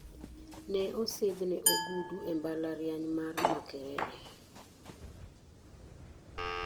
Ne osidhne ogudu e mbalariany mar Makerere.